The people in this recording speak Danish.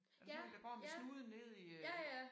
Er det sådan nogle der går med snuden nede i øh